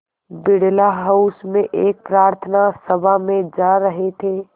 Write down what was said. Birla house में एक प्रार्थना सभा में जा रहे थे